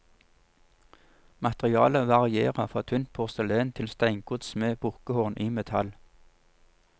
Materialet varierer fra tynt porselen til steingods med bukkehorn i metall.